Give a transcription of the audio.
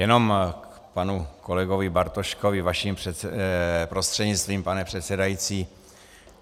Jenom k panu kolegovi Bartoškovi vaším prostřednictvím, pane předsedající.